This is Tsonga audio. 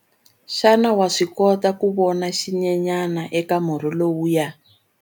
Xana wa swi kota ku vona xinyenyana eka murhi lowuya?